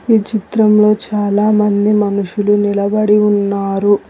ఈ చిత్రంలో చాలామంది మనుషులు నిలబడి ఉన్నారు.